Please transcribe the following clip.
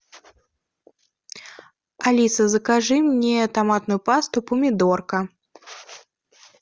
алиса закажи мне томатную пасту помидорка